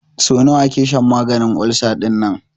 So nawa ake shan maganin ulcer dinnan?